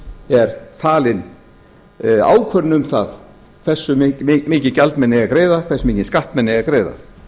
er falin ákvörðun um það hversu mikið gjald menn eigi að greiða hversu mikinn skatt menn eigi að greiða á